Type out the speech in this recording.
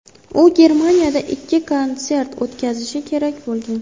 U Germaniyada ikkita konsert o‘tkazishi kerak bo‘lgan.